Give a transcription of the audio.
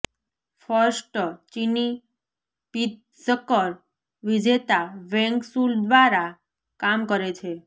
first ચિની Pritzker વિજેતા Wang Shu દ્વારા કામ કરે છે